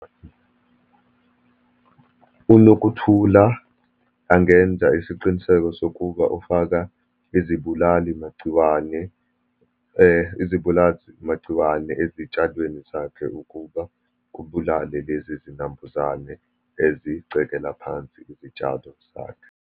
UNokuthula angenza isiqiniseko sokuba ufaka izibulalimagciwane izibulalimagciwane ezitshalweni zakhe, ukuba kubulale lezi zinambuzane ezicekela phansi izitshalo zakhe.